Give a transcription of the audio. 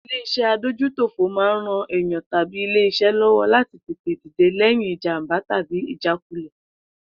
Ilé is̩é̩ adójútòfò máa ń ran èèyan tàbí ilé is̩é̩ ló̩wó̩ láti tètè dìde lé̩yìn ìjàm̀bá tàbí ìjákulè̩